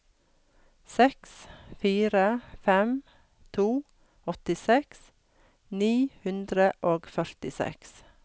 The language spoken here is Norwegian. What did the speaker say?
seks fire fem to åttiseks ni hundre og førtiseks